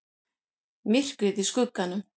MYRKRIÐ Í SKUGGANUM